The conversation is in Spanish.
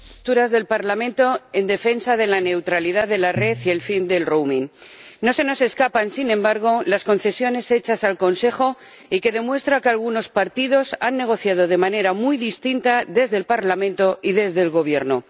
Señor Presidente, valoramos las posturas del Parlamento en defensa de la neutralidad de la red y el fin del No se nos escapan, sin embargo, las concesiones hechas al Consejo y que demuestran que algunos partidos han negociado de manera muy distinta desde el Parlamento y desde el Gobierno.